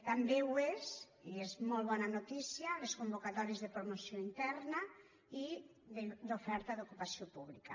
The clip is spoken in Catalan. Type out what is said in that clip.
també ho són i és molt bona notícia les convocatòries de promoció interna i d’oferta d’ocupació pública